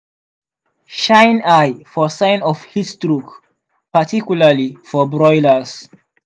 shine eye for sign of heatstroke particularly for broilers.